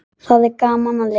Þá er gaman að lifa!